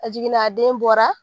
A jiginna a den bɔra